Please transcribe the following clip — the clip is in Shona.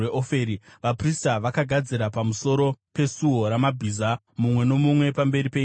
Vaprista vakagadzira pamusoro peSuo raMabhiza, mumwe nomumwe pamberi peimba yake.